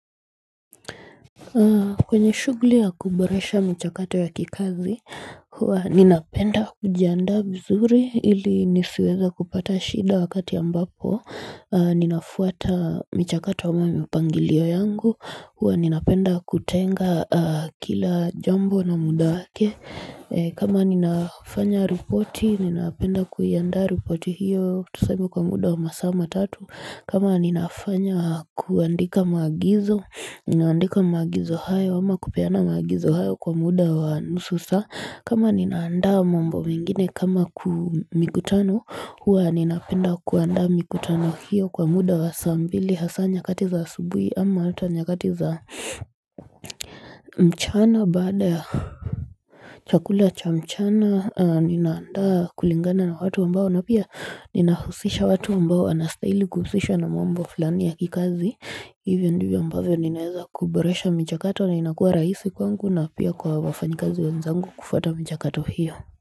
Kwenye shughuli ya kuboresha michakato ya kikazi, huwa ninapenda kujiandaa vizuri ili nisiweze kupata shida wakati ambapo Ninafuata michakato wa mwami upangilio yangu, huwa ninapenda kutenga ah kila jambo na muda wake kama ninafanya ripoti, ninapenda kuiaanda ripoti hiyo, tuseme kwa muda wa masaa matatu kama ninafanya kuandika maagizo ninaandika maagizo hayo ama kupiana maagizo hayo kwa muda wa nusu saa kama ninaandaa mambo mengine kama ku mikutano huwa ninapenda kuandaa mikutano hiyo kwa muda wa saa mbili hasa nyakati za asubuhi ama hata nyakati za mchana baada ya chakula cha mchana ninaandaa kulingana na watu ambao na pia ninahusisha watu ambao wanastaili kuhusishwa na mambo fulani ya kikazi hivyo ndivyo ambavyo ninaeza kuboresha michakato na inakuwa rahisi kwangu na pia kwa wafanyikazi wenzangu kufuata michakato hiyo.